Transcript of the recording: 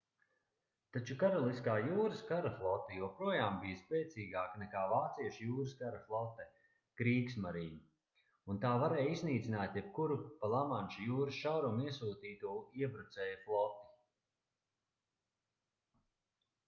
taču karaliskā jūras kara flote joprojām bija spēcīgāka nekā vāciešu jūras kara flote kriegsmarine” un tā varēja iznīcināt jebkuru pa lamanša jūras šaurumu iesūtīto iebrucēju floti